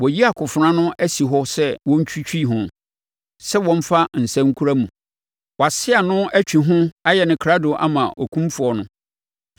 “ ‘Wɔayi akofena no asi hɔ sɛ wɔntwitwi ho, sɛ wɔmfa nsa nkura mu; wɔase ano, atwi ho, ayɛ no krado ama okumfoɔ no.